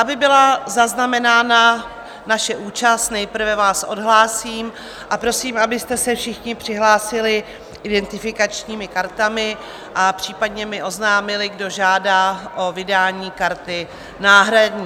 Aby byla zaznamenána naše účast, nejprve vás odhlásím a prosím, abyste se všichni přihlásili identifikačními kartami a případně mi oznámili, kdo žádá o vydání karty náhradní.